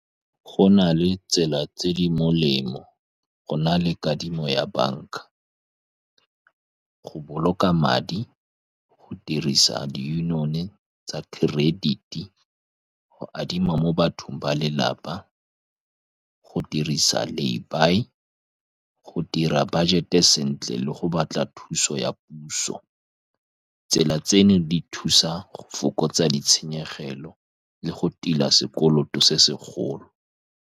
Go na le tsela tse di molemo go na le kadimo ya banka, go boloka madi, go dirisa di-union-e tsa credit-i, go adima mo bathong ba lelapa, go dirisa Lay-buy, go dira budget-e sentle, le go batla thuso ya puso. Tsela tseno di thusa go fokotsa ditshenyegelo le go tila sekoloto se segolo.